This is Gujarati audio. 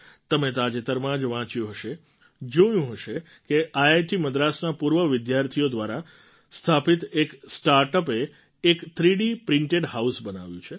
તમે તાજેતરમાં જ વાંચ્યું હશે જોયું હશે કે આઈઆઈટી મદ્રાસના પૂર્વ વિદ્યાર્થીઓ દ્વારા સ્થાપિત એક સ્ટાર્ટ અપએ એક થ્રીડી પ્રિન્ટેડ હાઉસ બનાવ્યું છે